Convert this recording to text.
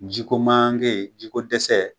Ji ko maanke ji ko dɛsɛ